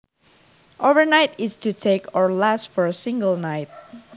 Overnight is to take or last for a single night